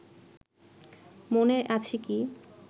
মনে আছে কি